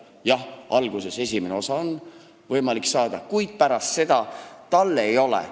Jah, alguses esimene etapp on võimalik saada, kuid pärast seda ei ole.